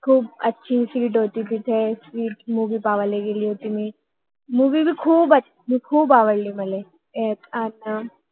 खूप चांगली सीट होती तिथे स्वीट sweet मुवि बघायला आह गेलो होतो मुवि movie पण खूप आवडली मला